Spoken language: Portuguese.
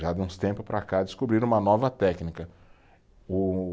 Já de uns tempos para cá descobriram uma nova técnica, o